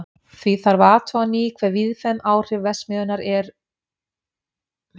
Því þarf að athuga á ný hve víðfeðm áhrif verksmiðjunnar eru á gróðurfar.